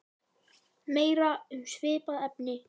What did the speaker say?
Meira um svipað efni